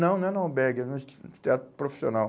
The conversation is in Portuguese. Não, não é no Albergue, é no teatro profissional.